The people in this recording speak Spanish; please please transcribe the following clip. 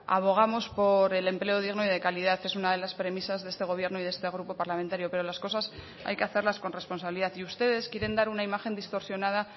abogamos por el empleo digno y de calidad es una de las premisas de este gobierno y de este grupo parlamentario pero las cosas hay que hacerlas con responsabilidad y ustedes quieren dar una imagen distorsionada